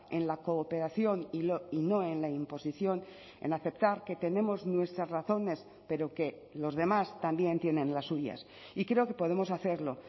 en la cooperación y no en la imposición en aceptar que tenemos nuestras razones pero que los demás también tienen las suyas y creo que podemos hacerlo